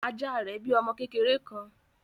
Ajá rẹ bí ọmọ kékeré kán.